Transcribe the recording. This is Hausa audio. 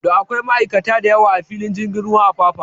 Da akwai ma'aikata da yawa a filin jirgin ruwan Apapa